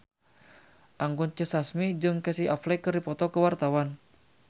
Anggun C. Sasmi jeung Casey Affleck keur dipoto ku wartawan